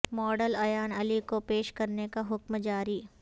model Ayan Ali کو پیش کرنے کا حکم جاری